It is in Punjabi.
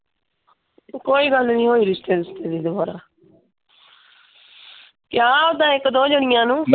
ਕੋਈ ਗੱਲ ਨਹੀਂ ਹੋਈ ਰਿਸ਼ਤੇ ਰੁਸ਼ਤੇ ਦੇ ਦੁਬਾਰਾ। ਕਿਹਾ ਉਦਾਂ ਇੱਕ ਦੋ ਜਾਣੀਆਂ ਨੂੰ।